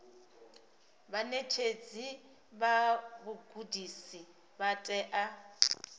vhaṋetshedzi vha vhugudisi vha tea